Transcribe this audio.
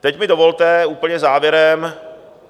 Teď mi dovolte úplně závěrem.